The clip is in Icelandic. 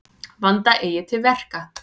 Vanda eigi til verka.